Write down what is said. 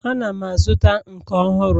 Ana m azụta nke ọhụrụ